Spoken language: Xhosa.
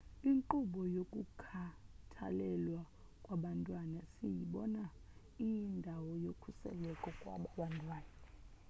inkqubo yokukhathalelwa kwabantwana siyibona iyindawo yokhuseleko kwaba bantwana